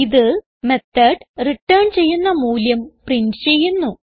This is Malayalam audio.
ഇത് മെത്തോട് റിട്ടേൺ ചെയ്യുന്ന മൂല്യം പ്രിന്റ് ചെയ്യുന്നു